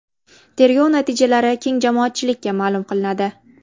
Tergov natijalari keng jamoatchilikka ma’lum qilinadi.